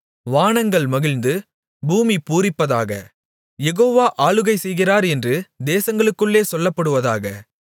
வானங்கள் மகிழ்ந்து பூமி பூரிப்பதாக யெகோவா ஆளுகைசெய்கிறார் என்று தேசங்களுக்குள்ளே சொல்லப்படுவதாக